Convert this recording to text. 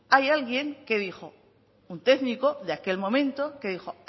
hay alguien que dijo un técnico de aquel momento que dijo